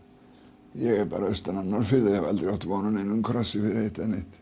ég er bara austan af Norðfirði og hef aldrei átt von á krossi fyrir eitt eða neitt